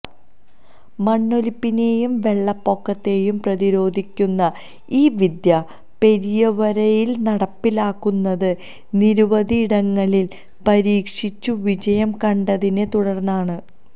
മണ്ണൊലിപ്പിനെയും വെള്ളപ്പൊക്കത്തെയും പ്രതിരോധിക്കുന്ന ഈ വിദ്യ പെരിയവരയില് നടപ്പിലാക്കുന്നത് നിരവധിയിടങ്ങളില് പരീക്ഷിച്ചു വിജയം കണ്ടെതിനെ തുടര്ന്നാണ്